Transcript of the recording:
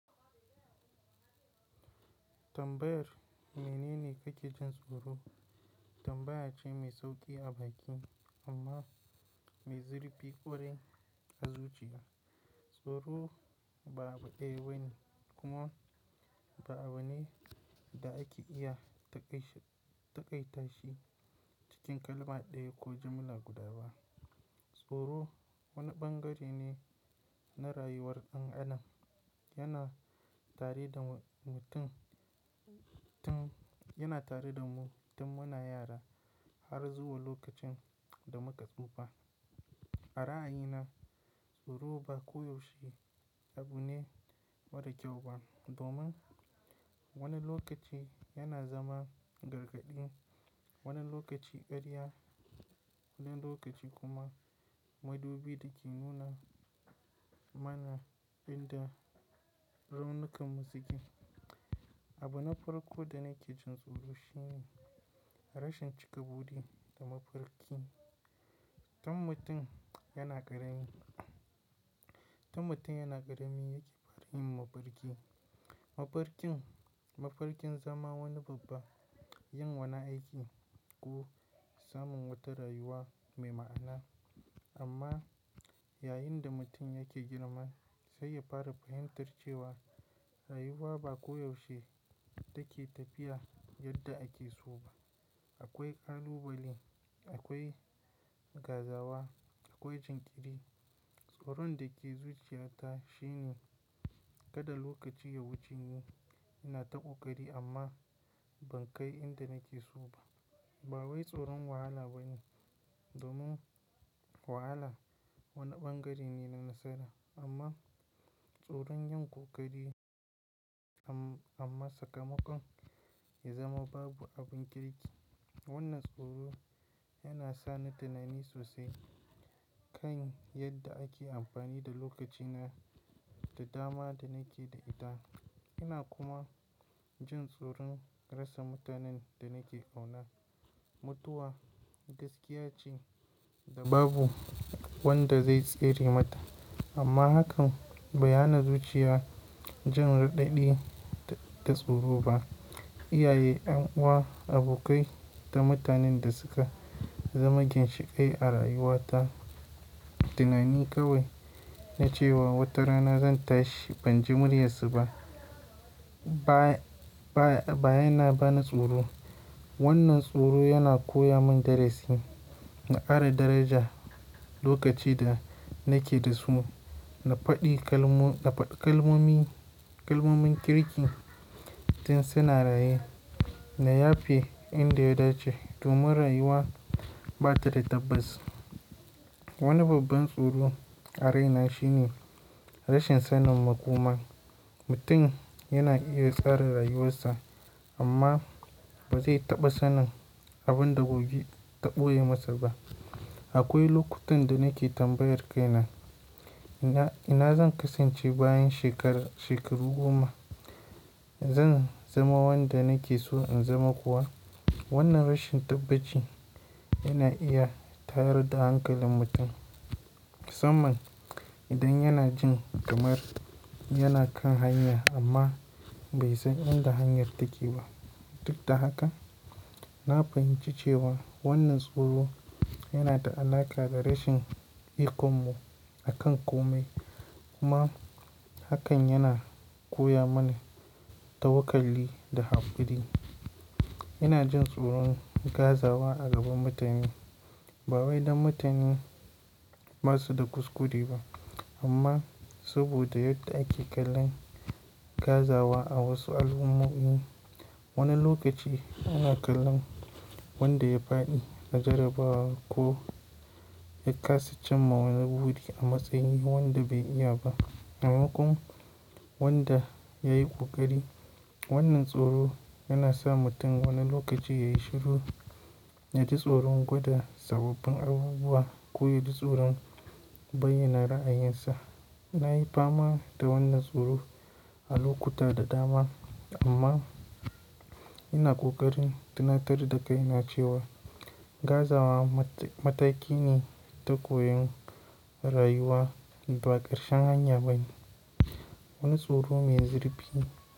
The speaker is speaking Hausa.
Tambayar me ne ne ke jin tsoro? Tambaya ce mai sauƙi a baki amma mai zurfi ƙwarai a zuciya. Tsoro ba abu ɗaya bane kuma ba abu ne da ake iya taƙaitashi cikin kalma ɗaya ko jamula guda ba. Tsoro wani ɓangare ne na rayuwar ɗan adam yana tare da mutum. Yana tare da mu tun muna yara har zuwa lokacin da muka tsufa. A ra'ayina tsoro ba koyaushe abu ne mara kyau ba domin wani lokaci yana zama gargaɗi, wani lokaci karya, wani lokaci kuma madubi da ke nuna mana inda raunukan mu suke. Abu na farko da nake jin tsoro shi ne rashin cika budi da mafarki tun mutum yana karami. Tun mutum yana ƙarami yake fara yin mafarki. Mafarkin zama wani babba, yin wani aiki ko samun wata rayuwa mai ma'ana. Amma yayin da mutum yake girma sai ya fara fahimtar cewa rayuwa ba koyaushe take tafiya yadda ake so ba. Akwai ƙalubale, akwai gazawa, akwai jinkiri. Tsoron da ke zuciyata shi ne kada lokaci ya wuce ni ina ta ƙoƙari amma ban kai inda nake so ba. Ba wai tsoron wahala ba ne domin wahala wani bangare ne na nasara amma tsoron yin ƙoƙari amma sakamakon ya zama babu abin kirki. Wannan tsoro yana sa ni tunani sosai kan yadda ake amfani da lokacina da dama da nake da ita. Ina kuma jin tsoron rasa mutanen da nake ƙauna. Mutuwa gaskiya ce da babu wanda zai tsere mata amma hakan bai hana zuciya jin raɗaɗi da tsoro ba. Iyaye, 'yan uwa, abokai da mutanen da suka zama ginshiƙai a rayuwata tunani kawai na cewa wata rana zan tashi ban ji muryarsu ba. Ba yana bani tsoro. Wannan tsoro yana koya min darasi na ara daraja lokaci da nake da su. Na faɗi kalmomin kirkin tun suna raye na yafe inda ya dace domin rayuwa ba ta da tabbaci. Wani babban tsoro a raina shi ne rashin sanin makoma. Mutum yana iya tsara rayuwarsa amma ba zai taɓa sanin abin da gobe taɓo ye masa ba. Akwai lokutan da nake tambayar kaina ina zan kasance bayan shekaru goma? Zan zama wanda nake so in zama kuwa? Wannan rashin tabbaci yana iya tayar da hankalin mutum musamman idan yana jin kamar yana kan hanya amma bai san inda hanyar take ba. Duk da haka na fahimci cewa wannan tsoro yana da alaƙa da rashin ikonmu a kan kome kuma hakan yana koya mana tawakkali da hakuri. Ina jin tsoron gazawa a gaban mutane. Ba wai dan mutane basu da kuskure ba amma saboda yadda ake kallon gazawa a wasu al'ummomi. Wani lokaci ana kallon wanda ya faɗi a jarabawa ko ya ƙasa cin ma wani buri a matsayin wanda bai iya ba. Amman ko wanda ya yi ƙoƙari. Wannan tsoro yana sa mutum wani lokaci yayi shiru ya ji tsoron gudun sababbin abubuwa ko ya ji tsoron bayyana ra'ayinsa. Na yi fama da wannan tsoro a lokuta da dama amma ina ƙoƙarin tunatar da kaina cewa gazawa mataki ne ta koyon rayuwa ba ƙarshen hanya ba ne. Wani tsoro mai zurfi.